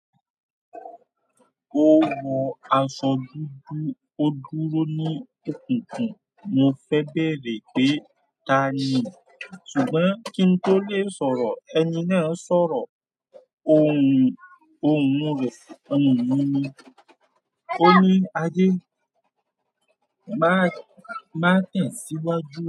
Ó wọ aṣọ dúdú, ó dúró ní òkùnkùn. Mo fẹ́ bẹ̀rẹ̀ pé "Ta ni." ṣùgbọ́n kí n tó lè sọ̀rọ̀, ẹni náà sọ̀rọ̀. Ohùn rẹ̀, ohùn mí ni. Ó ní "Adé, má tẹ̀síwájú."